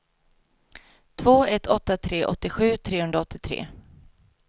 två ett åtta tre åttiosju trehundraåttiotre